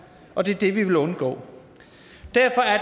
og det er det vi vil undgå derfor er